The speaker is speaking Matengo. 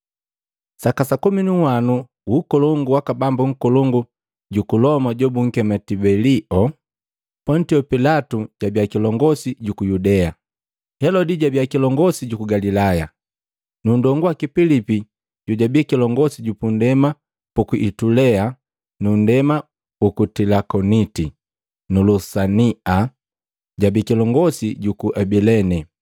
Saka sa komi nu nhwanu wu ukolongu waka Bambu nkolongu juku Loma jobunkema Tibelio, Pontio Pilato jabia kilongosi juku Yudea. Helodi jabi kilongosi juku Galilaya, nu nndongu waki Pilipi jojabi kilongosi ju pundema puku Itulea nu nndema uku Tilakoniti na Lusania jabi kilongosi juku Abilene.